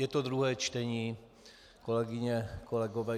Je to druhé čtení, kolegyně, kolegové.